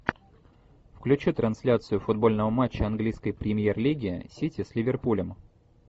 включи трансляцию футбольного матча английской премьер лиги сити с ливерпулем